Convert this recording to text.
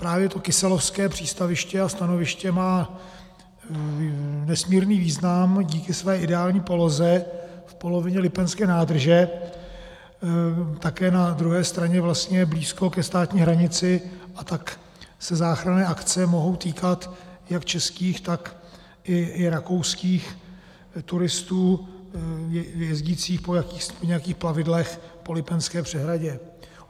Právě to kyselovské přístaviště a stanoviště má nesmírný význam díky své ideální poloze v polovině Lipenské nádrže, také na druhé straně vlastně blízko ke státní hranici, a tak se záchranné akce mohou týkat jak českých, tak i rakouských turistů jezdících po nějakých plavidlech po Lipenské přehradě.